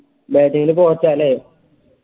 bating ൻറെ coach അല്ലേ